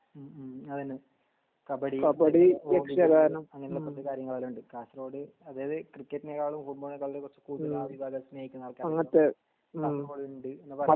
മ് മ് അതെന്നെ കബഡി യക്ഷ ഗാനം അങ്ങനത്തെ കാര്യങ്ങളെല്ലൊം ഉണ്ട് കാസർകോട് അതായത് ക്രിക്കറ്റിനെകാളും ഫുട്ബോൾ നെ കാളിലും സ്നേഹിക്കുന്ന ണ്ട്